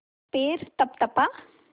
पैर तपतपा